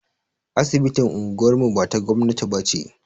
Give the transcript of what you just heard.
Asibitin unguwar mu ba ta gwamnati ba ce.